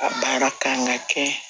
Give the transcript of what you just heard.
A baara kan ka kɛ